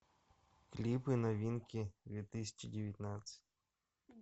клипы новинки две тысячи девятнадцать